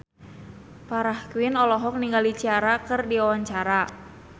Farah Quinn olohok ningali Ciara keur diwawancara